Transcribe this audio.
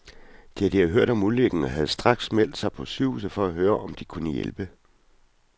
De havde hørt om ulykken og havde straks meldt sig på sygehuset for at høre, om de kunne hjælpe.